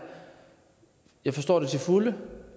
jeg forstår det til fulde